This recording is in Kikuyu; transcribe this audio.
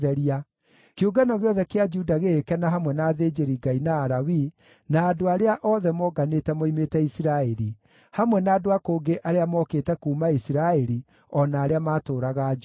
Kĩũngano gĩothe kĩa Juda gĩgĩkena hamwe na athĩnjĩri-Ngai na Alawii na andũ arĩa othe monganĩte moimĩte Isiraeli, hamwe na andũ a kũngĩ arĩa mookĩte kuuma Isiraeli o na arĩa maatũũraga Juda.